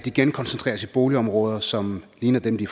igen koncentreres i boligområder som ligner dem de